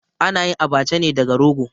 A na yin Abacha ne daga rogo.